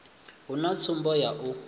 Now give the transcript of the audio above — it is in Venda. hu na tsumbo ya u